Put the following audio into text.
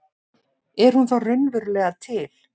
Er hún þá raunverulega til?